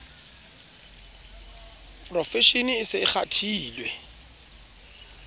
profeshene e se e kgathile